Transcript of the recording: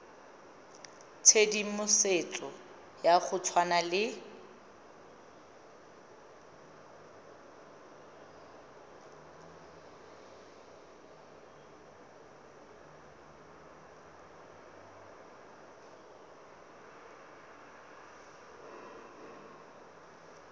tshedimosetso ya go tshwana le